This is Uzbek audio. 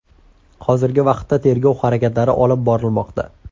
Hozirgi vaqtda tergov harakatlari olib borilmoqda.